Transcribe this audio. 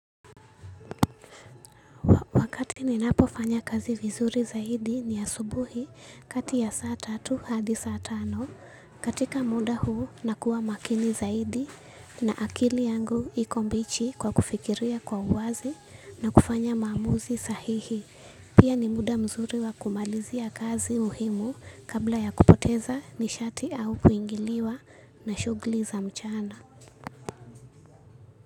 Wakati ninapofanya kazi vizuri zaidi ni asubuhi kati ya saa tatu hadi saa tano katika muda huu nakuwa makini zaidi na akili yangu iko mbichi kwa kufikiria kwa uwazi na kufanya maamuzi sahihi. Pia ni muda mzuri wa kumalizia kazi muhimu kabla ya kupoteza nishati au kuingiliwa na shughuli za mchana.